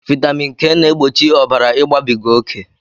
Vitamin K na-egbochi ọbara igbabiga oké